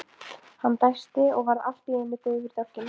Hann dæsti og varð allt í einu daufur í dálkinn.